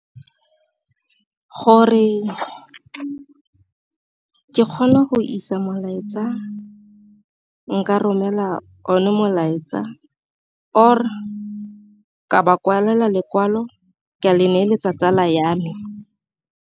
Gore ke kgone go isa molaetsa nka romela o ne molaetsa, or ke ba kwalela lekwalo ke a le neeletsa tsala ya me.